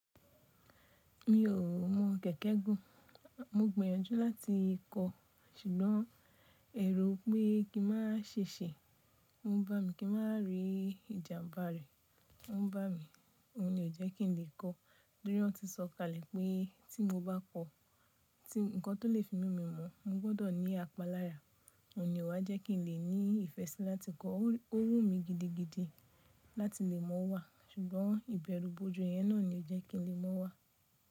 Mi ò mọ kẹ̀kẹ́ gùn, mo gbìyànjú láti kọ̀, ṣùgbọ́n ẹ̀rò pé kí n maa ṣiṣe, o ń bá mi, kí n maa rí ìjàmbá rẹ̀, o ń bá mi, òun ní o jẹ́ kí n lè kọ́, torí wọ́n ti sọ kalẹ̀ pé tí mo bá kọ́, ti ǹkan tó lè fi mu mí mọ́, mo gbọ́dọ̀ ní apalára, òun ní o wá jẹ́ kí n lè ní ìfẹ́ sí láti kọ́, ó wù mí gidigidi láti lè mọ̀ wá, ṣùgbọ́n ìbẹ̀rù bojo yẹn náà ni ò jẹ́ kí n lè mọ̀ wá.